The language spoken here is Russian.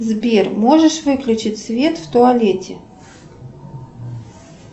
сбер можешь выключить свет в туалете